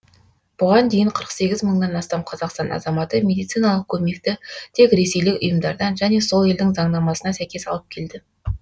бұған дейін қырық сегіз мыңнан астам қазақстан азаматы медициналық көмекті тек ресейлік ұйымдардан және сол елдің заңнамасына сәйкес алып келді